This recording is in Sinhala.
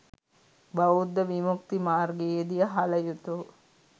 බෞද්ධ විමුක්ති මාර්ගයේදී හළ යුතු